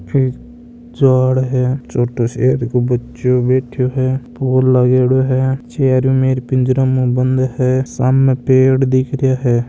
छोटे शेर को बच्चों बैठो है फूल लगेड़ो है चारो मेर पिंजरे में ऊ बंद है सामने पेड़ दिख रहा है।